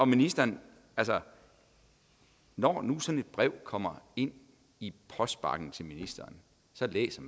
ministeren når nu sådan et brev kommer ind i postbakken til ministeren så læser